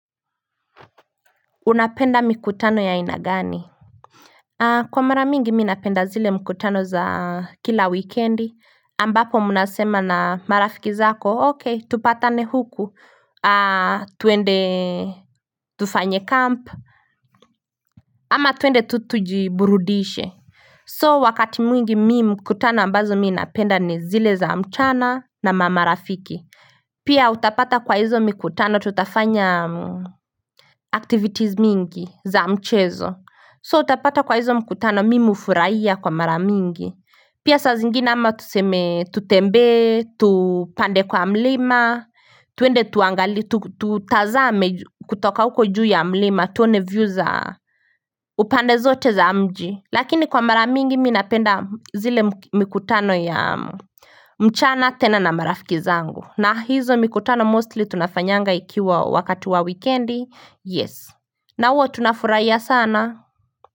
Unapenda mikutano ya aina gani Kwa mara mingi mi napenda zile mikutano za kila wikendi ambapo mnasema na marafiki zako okay tupatane huku tuende tufanye camp ama twende tu tujiburudishe So wakati mwingi mi mikutano ambazo mi napenda ni zile za mchana na marafiki Pia utapata kwa hizo mikutano tutafanya activities mingi za mchezo So utapata kwa hizo mkutano mimi hufurahia kwa mara mingi Pia saa zingine ama tuseme tutembee, tupande kwa mlima tuende tuangalie, tutazame kutoka uko juu ya mlima tuone view za, upande zote za mji Lakini kwa mara mingi minapenda zile mikutano ya mchana tena na marafiki zangu na hizo mikutano mostly tunafanyanga ikiwa wakati wa wikendi Yes, na huwa tunafurahia sana.